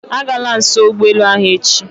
Agala nso ụgbọelu ahụ echi